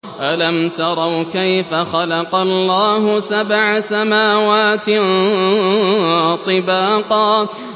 أَلَمْ تَرَوْا كَيْفَ خَلَقَ اللَّهُ سَبْعَ سَمَاوَاتٍ طِبَاقًا